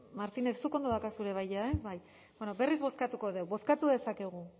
martínez zuk ondo daukazu ere bai ja ez bai bueno berriz bozkatuko dugu bozkatu dezakegu